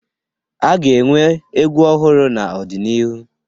A ga-enwe egwu ọhụrụ n'ọdịnihu